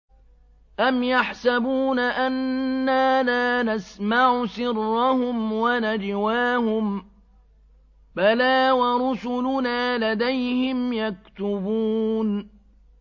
أَمْ يَحْسَبُونَ أَنَّا لَا نَسْمَعُ سِرَّهُمْ وَنَجْوَاهُم ۚ بَلَىٰ وَرُسُلُنَا لَدَيْهِمْ يَكْتُبُونَ